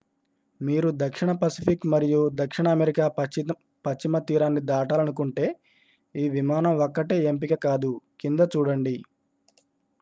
మీరు దక్షిణ పసిఫిక్ మరియు దక్షిణ అమెరికా పశ్చిమ తీరాన్ని దాటాలనుకుంటే ఈ విమానం ఒక్కటే ఎంపిక కాదు.కింద చూడండి